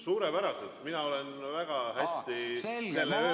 Suurepäraselt, mina olen väga hästi selle öö üle elanud.